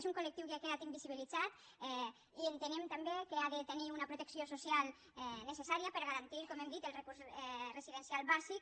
és un col·lectiu que ha quedat invisibilitzat i entenem també que ha de tenir una protecció social necessària per a garantir com hem dit el recurs residencial bàsic